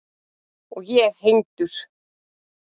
Og ég hengdur.